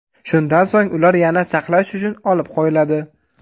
Shundan so‘ng ular yana saqlash uchun olib qo‘yiladi.